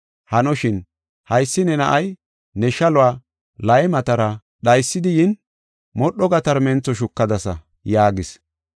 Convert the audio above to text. Hanoshin, haysi ne na7ay ne shaluwa laymatara dhaysidi yin, modho gatarmentho shukadasa’ ” yaagis.